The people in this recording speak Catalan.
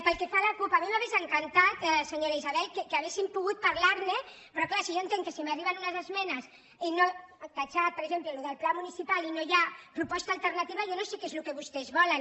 pel que fa a la cup a mi m’hau·ria encantat senyora isabel que haguéssim pogut par·lar·ne però és clar jo entenc que si m’arriben unes esmenes esborrar per exemple allò del pla munici·pal i no hi ha proposta alternativa jo no sé què és el que vostès volen